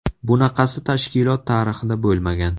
Bunaqasi tashkilot tarixida bo‘lmagan.